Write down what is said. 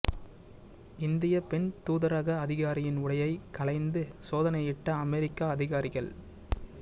இந்தியப் பெண் தூதரக அதிகாரியின் உடையை களைந்து சோதனையிட்ட அமெரிக்க அதிகாரிகள்